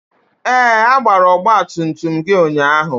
Ee! A gbara ọgba tum tum gị ụnyaahụ.